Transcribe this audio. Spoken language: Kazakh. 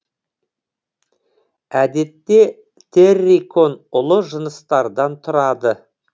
әдетте террикон ұлы жыныстардан тұрады